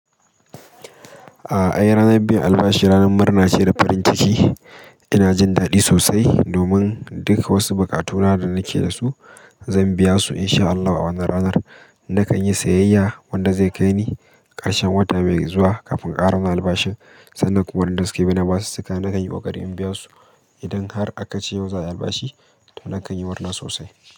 Ah ai ranar biyan albashi ranar murna ce da farin ciki. Ina jin daɗi sosai domin duk wasu bukatuna da nake da su zan biya su in sha Allah a wannan ranar. Nakan yi sayayya wanda zai kai ni ƙarshen wata mai zuwa kafin ƙara wani albashi. Sannan kuma wadanda suke bina basu cika nakan yi koƙari in biya su. Idan har aka ce yau za a yi albashi to nakan yi murna sosai.